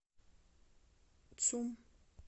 цум